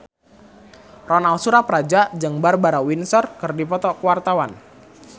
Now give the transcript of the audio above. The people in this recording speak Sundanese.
Ronal Surapradja jeung Barbara Windsor keur dipoto ku wartawan